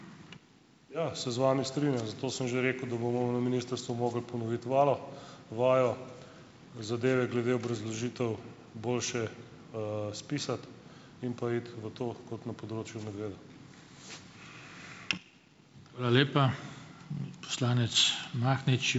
Ja, se z vami strinjam, zato sem že rekel, da bomo na ministrstvu mogli ponoviti vajo, zadeve glede obrazložitev boljše, spisati in pa iti v to kot na področju medveda.